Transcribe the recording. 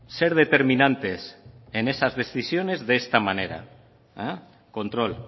ser determinantes en esas decisiones de esta manera control